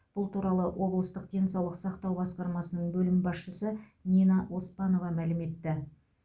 бұл туралы облыстық денсаулық сақтау басқармасының бөлім басшысы нина оспанова мәлім етті